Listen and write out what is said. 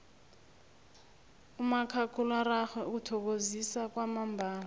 umakhakhulararhwe uthokozisa kwamambala